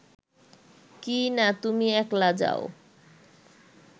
কিইনা তুমি একলা যাও